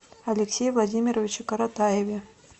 алексее владимировиче коротаеве